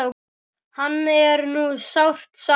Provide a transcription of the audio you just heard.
Hans er nú sárt saknað.